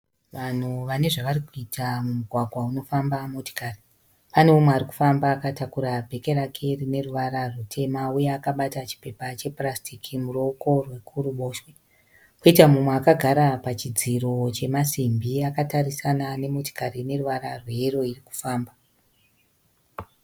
Vanhu vane zvarikuita mumugwagwa unofamba motikari. Pane umwe ari kufamba akatakura bheke rake rine ruvara rutema uye akabata chipepa chepurasitiki muruoko rwekuruboboshwe. Koita umwe akagara pachidziro chemasimbi akatarisana nemotikari ine ruvara rweyero iri kufamba.